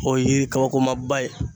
O ye kabakoma ba ye.